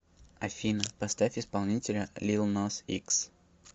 афина поставь исполнителя лил нас икс